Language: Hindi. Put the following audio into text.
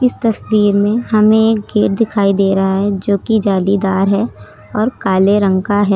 तस्वीर में हमें एक गेट दिखाई दे रहा है जो की जालीदार है और काले रंग का है।